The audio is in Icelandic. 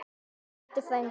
Elsku Diddi frændi.